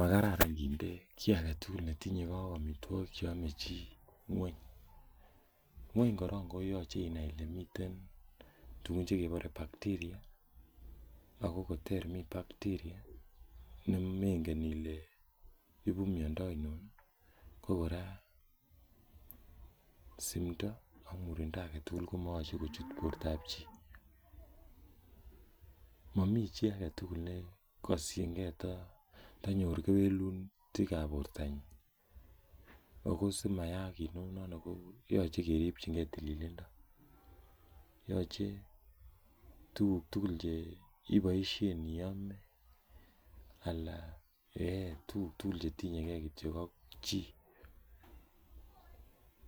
Makararan kiten kii agetugul netinyegee ak amitwogik cheame chii ngweny, ngweny korong koyoche inai ile mitwn tugun chekebore bacteria ,ako koter mi bacteria nemengen ile ibu miando ainon ii, ko kora simndoo ak murindoo agetugul komoyoche kochut bortab chii, mo mii achi agetugul nekoshingee tanyor kewelutikab bortanyin ako simyaak kounon koyoche keripchingee tililindo, yoche tuguk tugul cheiboisien iyome alan eeh tuguk tugul chetinyeege kityok ak chii,